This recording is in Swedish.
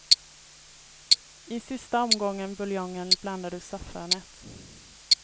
I sista omgången buljong blandar du saffranet.